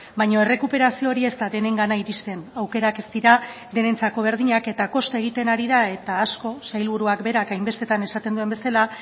baina errekuperazio hori ez da denengana iristen aukerak ez dira denentzako berdinak eta kosta egiten ari da eta asko sailburuak berak hainbestetan esaten duen bezala